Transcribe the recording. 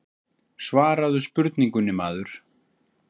Svaraðu spurningunni maður.